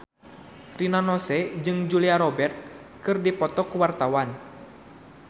Rina Nose jeung Julia Robert keur dipoto ku wartawan